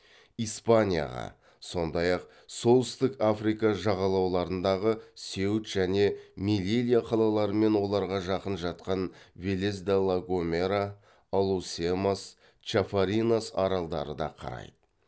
испанияға сондай ақ солтүстік африка жағалауларындағы сеут және мелилья қалалары мен оларға жақын жатқан велесде ла гомера алусемас чафаринас аралдары да қарайды